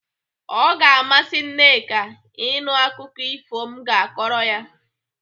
O ga-amasị Nneka ịnụ akụkọ efu m ga-akọrọ ya.